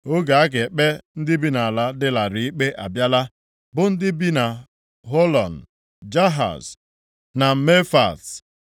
Oge a ga-ekpe ndị bi nʼala dị larịị ikpe abịala, bụ ndị bi na Họlọn, Jahaz na Mefaat,